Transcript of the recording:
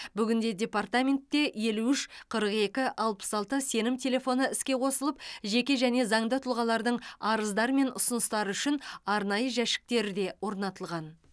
бүгінде департаментте елу үш қырық екі алпыс алты сенім телефоны іске қосылып жеке және заңды тұлғалардың арыздары мен ұсыныстары үшін арнайы жәшіктер де орнатылған